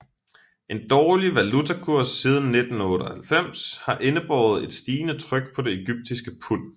En dårlig valutakurs siden 1998 har indebåret et stigende tryk på det egyptiske pund